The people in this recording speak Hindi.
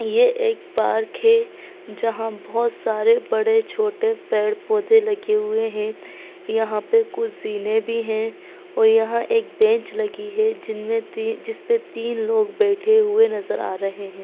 ये एक पार्क है जहां बहुत सारे बड़े-छोटे पेड़-पौधे लगे हुए है यहाँ पे कुछ जीने भी है और यहां एक बेंच लगी है जिनमे तीन जिसपे तीन लोग बैठे हुए नज़र आ रहे है।